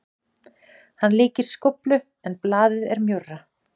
Hann líkist skóflu en blaðið er mjórra.